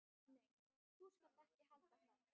Nei, þú skalt ekki halda það!